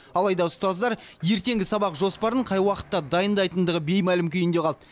алайда ұстаздар ертеңгі сабақ жоспарын қай уақытта дайындайтындығы беймәлім күйінде қалды